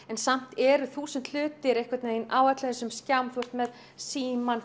en samt eru þúsund hlutir einhvern veginn á öllum þessum skjám þú ert með símann